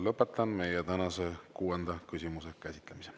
Lõpetan meie tänase kuuenda küsimuse käsitlemise.